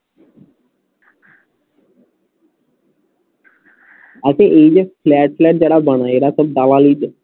বলছি এই যে flat ট্যাট যারা বানায় এরা তো দালালি করে